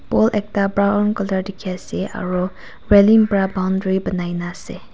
ekta brown colour tiki ase aro vra boundary bunai na ase.